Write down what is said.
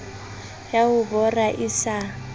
ya ho bora e sa